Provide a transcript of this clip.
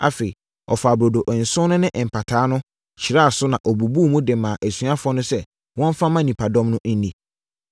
Afei ɔfaa burodo nson no ne mpataa no, hyiraa so na ɔbubuu mu de maa asuafoɔ no sɛ wɔmfa mma nnipadɔm no nni.